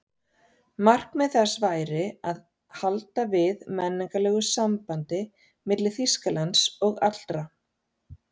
Markmið þess væri að halda við menningarlegu sambandi milli Þýskalands og allra